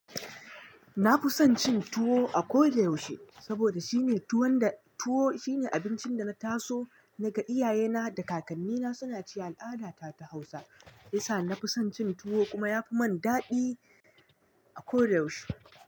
Na fi son cin tuwo a ko da yaushe saboda shine tuwon da tuwo shine abincin da na taso naga iyaye na da kakanni na suna ci al'ada ta Hausa. Hiyasa na fi son cin tuwo kuma ya fi min daɗi a ko da yaushe.